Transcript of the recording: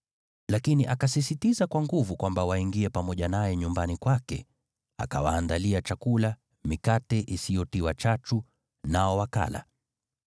Lakini akasisitiza kwa nguvu kwamba waingie pamoja naye nyumbani kwake. Akawaandalia chakula, mikate isiyotiwa chachu, nao wakala.